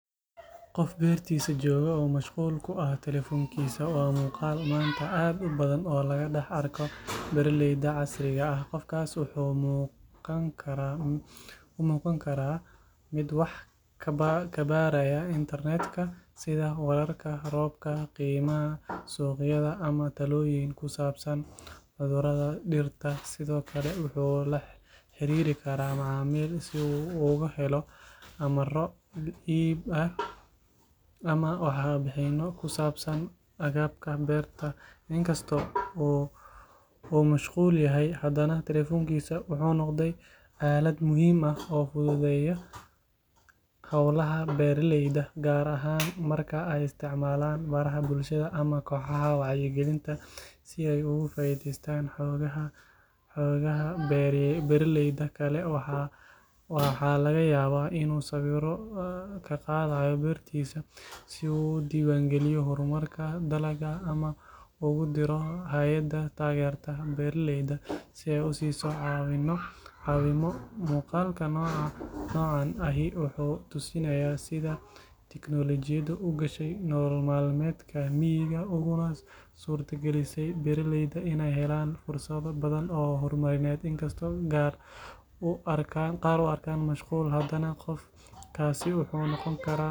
Qof beertiisa jooga oo mashquul ku ah telefoonkiisa waa muuqaal maanta aad u badan oo laga dhex arko beeraleyda casriga ah qofkaas wuxuu u muuqan karaa mid wax ka baaraya internet-ka sida wararka roobka qiimaha suuqyada ama talooyin ku saabsan cudurrada dhirta sidoo kale wuxuu la xiriiri karaa macaamiil si uu uga helo amarro iib ama warbixinno ku saabsan agabka beerta in kastoo uu mashquul yahay haddana telefoonku wuxuu noqday aalad muhiim ah oo fududeysa howlaha beeraleyda gaar ahaan marka ay isticmaalaan baraha bulshada ama kooxaha wacyigelinta si ay uga faa’iideystaan xogaha beeraleyda kale waxaa laga yaabaa inuu sawirro ka qaadayo beertiisa si uu u diiwaangeliyo horumarka dalagga ama uu ugu diro hay’ad taageerta beeraleyda si ay u siiso caawimo muuqaalka noocan ahi wuxuu tusinayaa sida tiknoolajiyadu u gashay nolol maalmeedka miyiga uguna suurtagelisay beeraleyda inay helaan fursado badan oo horumarineed inkastoo qaar u arkaan mashquul haddana qofkaasi.